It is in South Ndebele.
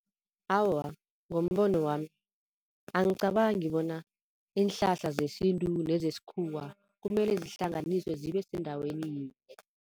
Awa ngombono wami, angicabangi bona iinhlahla zesintu nezesikhuwa kumele zihlanganiswe zibe sendaweni yinye.